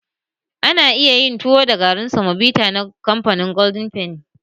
Ana iya yin tuwo da garin samobita na golden fenny.